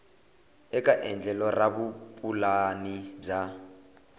eka endlelo ra vupulani bya